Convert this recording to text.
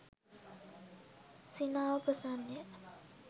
සිනාව ප්‍රසන්න ය.